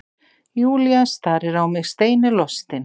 Júlía starir á mig steinilostin.